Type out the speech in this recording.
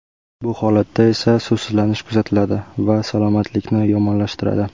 Bu holatda esa suvsizlanish kuzatiladi va salomatlikni yomonlashtiradi.